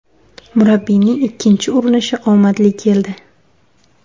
Murabbiyning ikkinchi urinishi omadli keldi.